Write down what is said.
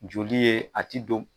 Joli ye a ti don